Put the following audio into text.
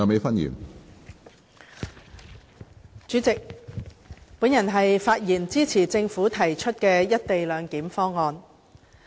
主席，我發言支持政府提出的"一地兩檢"方案。